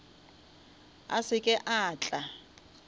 a se ke a tla